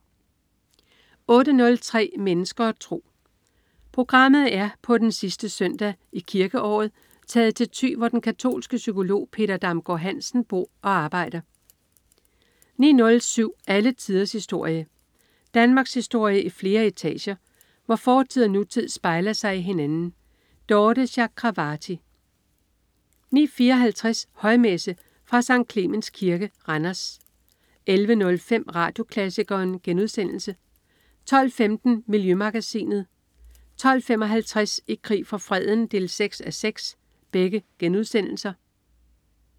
08.03 Mennesker og tro. Programmet er på den sidste søndag i kirkeåret taget til Thy, hvor den katolske psykolog Peter Damgaard-Hansen bor og arbejder 09.07 Alle tiders historie. Danmarkshistorie i flere etager, hvor fortid og nutid spejler sig i hinanden. Dorthe Chakravarty 09.54 Højmesse. Fra Sct. Clemens Kirke, Randers 11.05 Radioklassikeren* 12.15 Miljømagasinet* 12.55 I krig for freden 6:6*